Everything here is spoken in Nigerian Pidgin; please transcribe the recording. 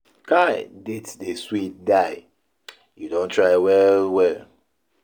Kai dates dey sweet die. You don try well well.